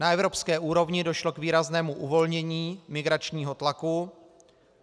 Na evropské úrovni došlo k výraznému uvolnění migračního tlaku.